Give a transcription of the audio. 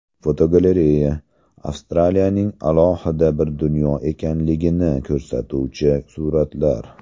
Fotogalereya: Avstraliyaning alohida bir dunyo ekanligini ko‘rsatuvchi suratlar.